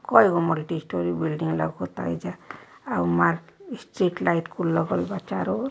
कई गो multi storey building लउकता एहिजाआ उ मार स्ट्रीट लाइट कुल लगल बा चारो ओर।